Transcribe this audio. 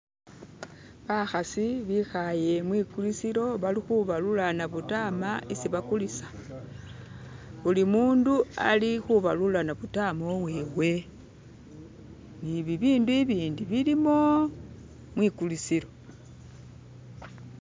bakhsi bikhaye mwikhulisilo balikhubalula nabutama esi bakhulisa. Buli mundu alikhubalula nabutama uwewe ni bibindu ibindi bilimo mwikhulisilo